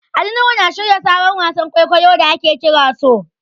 Ali Nuhu yana shirya sabon wasan kwaikwayon da ake kira So.